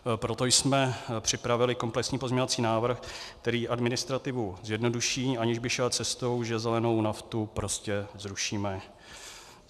Proto jsme připravili komplexní pozměňovací návrh, který administrativu zjednoduší, aniž by šel cestou, že zelenou naftu prostě zrušíme.